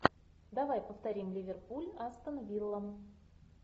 давай повторим ливерпуль астон вилла